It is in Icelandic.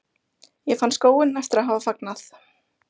Ég fann skóinn eftir að hafa fagnað.